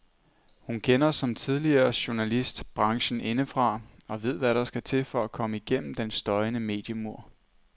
Hun kender, som tidligere journalist, branchen indefra og ved hvad der skal til for at komme gennem den støjende mediemur.